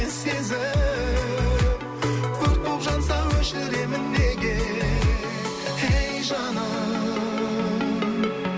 сезім өрт боп жанса өшіремін неге ей жаным